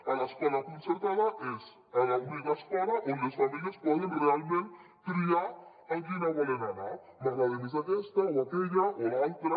a l’escola concertada és a l’única escola on les famílies poden realment triar a quina volen anar m’agrada més aquesta o aquella o l’altra